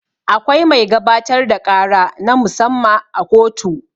Akwai mai gabatar da ƙara na mu-samma a kotu.